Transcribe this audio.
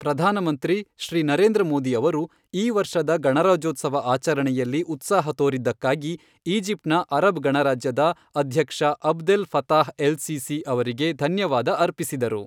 ಪ್ರಧಾನಮಂತ್ರಿ ಶ್ರೀ ನರೇಂದ್ರ ಮೋದಿ ಅವರು, ಈ ವರ್ಷದ ಗಣರಾಜ್ಯೋತ್ಸವ ಆಚರಣೆಯಲ್ಲಿ ಉತ್ಸಾಹ ತೋರಿದ್ದಕ್ಕಾಗಿ ಈಜಿಪ್ಟ್ನ ಅರಬ್ ಗಣರಾಜ್ಯದ ಅಧ್ಯಕ್ಷ ಅಬ್ದೆಲ್ ಫತಾಹ್ ಎಲ್ ಸಿಸಿ ಅವರಿಗೆ ಧನ್ಯವಾದ ಅರ್ಪಿಸಿದರು.